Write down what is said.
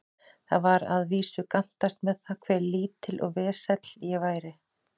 Það var að vísu gantast með það, hve lítill og vesæll ég væri.